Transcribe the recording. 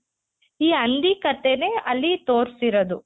ಈ ಹಂದಿ ಕಥೆನೆ ಅಲ್ಲಿ ತೊರ್ಸಿರೋದು.